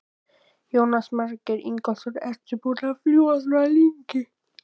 Jónas Margeir Ingólfsson: Ertu búin að fljúga svona lengi?